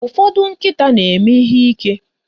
Ụfọdụ nkịta na-eme ihe ike.